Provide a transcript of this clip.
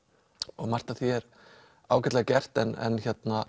og margt af því er ágætlega gert en